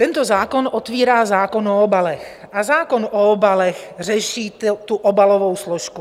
Tento zákon otvírá zákon o obalech a zákon o obalech řeší tu obalovou složku.